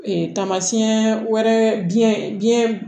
Ee tamasiyɛn wɛrɛ biɲɛ biɲɛ